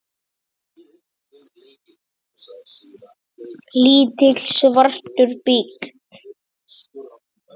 Lítill, svartur bíll.